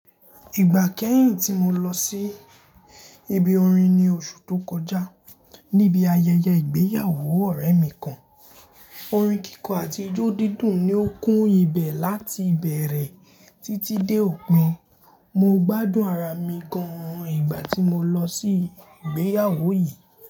Ìgbà kẹ́hìn tí mo lọ sí ibi orin ní oṣù tó kọjá, níbi ayẹyẹ ìgbéyàwó ọ̀rẹ́ mi kan, orin kíkọ àti ijó dídùn ni ó kún ibẹ̀ láti ìbẹ̀rẹ̀ títí dé òpin. Mo gbádùn ara mi gan ìgbà tí mo lọ sí ìgbéyàwó yìí.